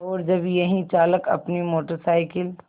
और जब यही चालक अपनी मोटर साइकिल